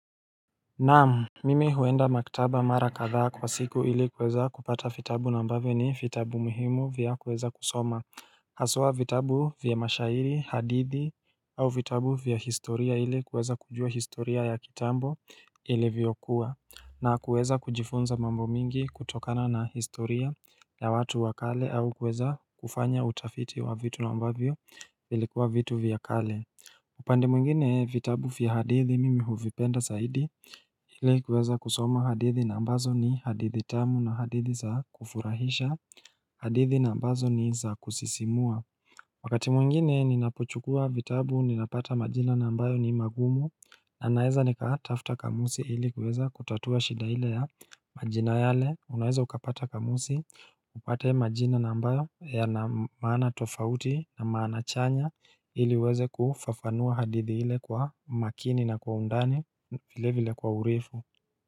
Naam Mimi huenda maktaba mara katha kwa siku ili kuweza kupata fitabu nambavyo ni fitabu muhimu vya kueza kusoma Haswa fitabu vya mashairi, hadithi au fitabu vya historia ili kweza kujua historia ya kitambo ili viyokuwa na kuweza kujifunza mambo mingi kutokana na historia ya watu wakale au kweza kufanya utafiti wa vitu na ambavyo ilikuwa vitu vya kale upande mwingine vitabu vya hadithi mimi huvipenda zaidi ile kuweza kusoma hadithi na ambazo ni hadithi tamu na hadithi za kufurahisha hadithi na ambazo ni za kusisimua Wakati mwingine ninapochukua vitabu ninapata majina nambayo ni magumu na naeza nikatafta kamusi ili kuweza kutatua shida ile ya majina yale unaeza ukapata kamusi upate majina na ambayo yana maana tofauti na maana chanya ili uweze kufafanua hadithi ile kwa makini na kwa undani vile vile kwa urefu.